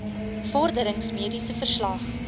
vorderings mediese verslag